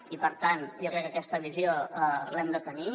i per tant jo crec que aquesta visió l’hem de tenir